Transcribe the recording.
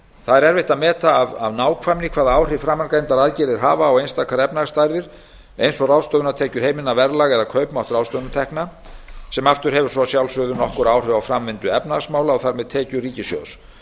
er erfitt að meta af nákvæmni hvaða áhrif framangreindar aðgerðir hafa á einstakar efnahagsstærðir eins og ráðstöfunartekjur heimilanna verðlag eða kaupmátt ráðstöfunartekna sem aftur hefur svo að sjálfsögðu nokkur áhrif á framvindu efnahagsmála og þar með tekjur ríkissjóðs